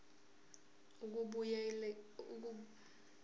ukubuyekeza kabusha le